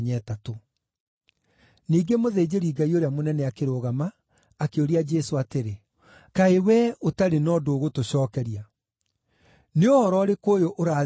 Ningĩ mũthĩnjĩri-Ngai ũrĩa mũnene akĩrũgama, akĩũria Jesũ atĩrĩ, “Kaĩ wee ũtarĩ na ũndũ ũgũtũcookeria? Nĩ ũhoro ũrĩkũ ũyũ ũrathitangĩrwo?”